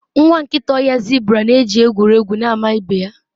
nwa nkịta ọhịa zebra na-eji egwu egwu na-ama ibe ya